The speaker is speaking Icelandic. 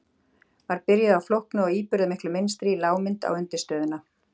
Var byrjuð á flóknu og íburðarmiklu mynstri í lágmynd á undirstöðuna.